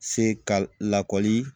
Se ka lakɔli